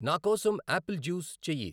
నాకోసం apple juice చెయ్యి.